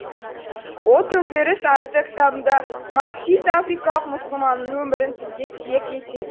ол төңкеріс атты кітабында марксист африкалық мұсылманның өмірін тілге тиек етеді